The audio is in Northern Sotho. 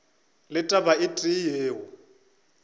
le taba e tee yeo